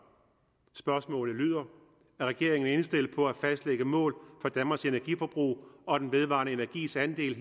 spørgsmålet lyder er regeringen indstillet på at fastlægge mål for danmarks energiforbrug og den vedvarende energis andel